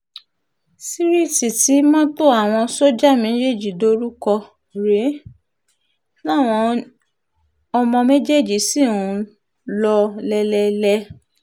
síríìtì tí mọ́tò àwọn sójà méjèèjì dorí kò rèé táwọn omo méjèèjì ṣì ń lò lélẹ̀ẹ́lẹ̀